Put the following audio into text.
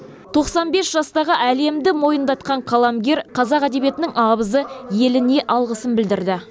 тоқсан бес жастағы әлемді мойындатқан қаламгер қазақ әдебиетінің абызы еліне алғысын білдірді